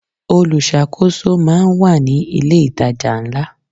Olùṣàkóso máà ń wà ní ilé ìtajà ńlá.